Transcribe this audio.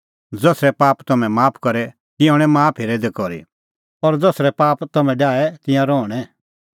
ज़सरै पाप तम्हैं माफ करे तिंयां हणैं माफ हेरै दै करी और ज़सरै पाप तम्हैं डाहे तिंयां रहणैं